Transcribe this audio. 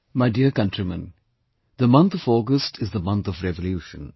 My dear countrymen, the month of August is the month of Revolution